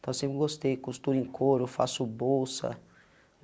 Então eu sempre gostei, costuro em coro, faço bolsa.